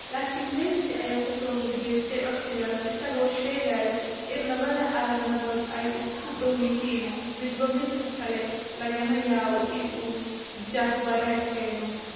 Laakiin Massi ayaa ka soo horjeestay codsigaas isagoo sheegay in labada calaamadood ay isku dhow yihiin midba midka kale lagana yaabo in uu jahwareer keeno.